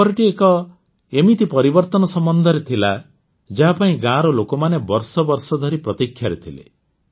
ଖବରଟି ଏକ ଏମିତି ପରିବର୍ତ୍ତନ ସମ୍ବନ୍ଧରେ ଥିଲା ଯାହାପାଇଁ ଗାଁର ଲୋକମାନେ ବର୍ଷ ବର୍ଷ ଧରି ପ୍ରତୀକ୍ଷାରେ ଥିଲେ